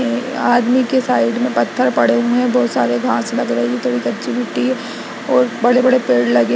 आदमी के साइड मे पथर पड़े हुए है बहुत सारे घास लगे हुए है थोड़ी कच्ची मिट्टी और बड़े बड़े पेड़ लगे--